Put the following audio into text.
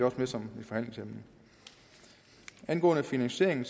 også med som et forhandlingsemne angående finansieringen